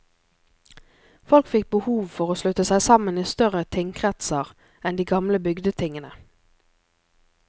Folk fikk behov for å slutte seg sammen i større tingkretser enn de gamle bygdetingene.